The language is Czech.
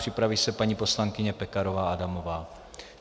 Připraví se paní poslankyně Pekarová Adamová.